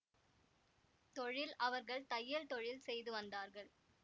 தொழில் அவர்கள் தையல் தொழில் செய்து வந்தார்கள்